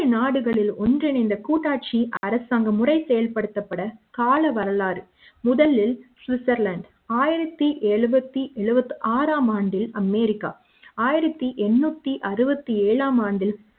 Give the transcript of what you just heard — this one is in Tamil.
நாடுகளில் ஒன்றிணைந்த கூட்டாட்சி அரசாங்க முறை செயல்படுத்தப்பட்டது கால வரலாறு முதலில் சுவிட்சர்லாந்து ஆயிரத்து எழுபத்து ஆறு ஆம் ஆண்டு அமெரிக்கா ஆயிரத்து எண்ணுத்தி அறுபத்து ஏழாம் ஆண்டு